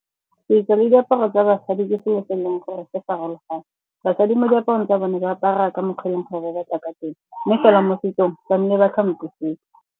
Setso le diaparo tsa basadi ke selo se e leng gore ke farologane. Basadi mo diaparong tsa bone ba apara ka mokgwa o e leng gore ba batla ka teng. Mme fela mo setsong ba ke sepe.